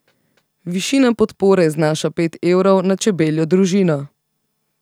Višina podpore znaša pet evrov na čebeljo družino.